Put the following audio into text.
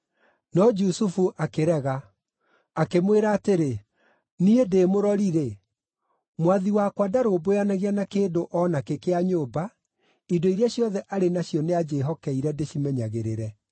No Jusufu akĩrega. Akĩmwĩra atĩrĩ, “Niĩ ndĩ mũrori-rĩ, mwathi wakwa ndarũmbũyanagia na kĩndũ o nakĩ kĩa nyũmba, indo iria ciothe arĩ nacio nĩanjĩĩhokeire ndĩcimenyagĩrĩre.